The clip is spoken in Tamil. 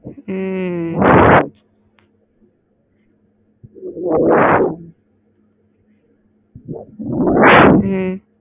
ம்ம் ம்